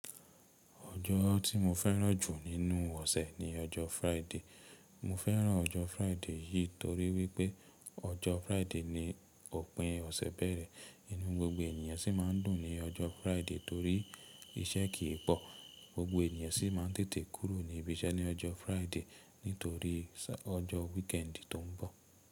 Ojo ti mo fẹ́ràn jù nínú ọ̀sẹ̀ ni ọjọ́ Friday. Mo fẹ́ràn ọjọ́ Friday yìí torí wípé ọjọ́ Friday ni òpin ọ̀sẹ̀ bẹ̀rẹ̀. Inú gbogbo ènìyàn si ma ń dùn ní ọjọ́ Friday torí iṣẹ́ kì í pò. Gbogbo ènìyàn si ma ń tètè kúrò ní ibi iṣẹ́ ní ọjọ́ Friday nítorí sa ọjọ́ weekendi tó ń bọ̀.